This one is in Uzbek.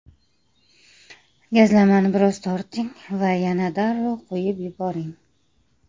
Gazlamani biroz torting va yana darrov qo‘yib yuboring.